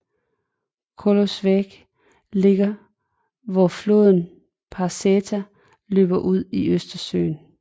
Kołobrzeg ligger hvor floden Parsęta løber ud i Østersøen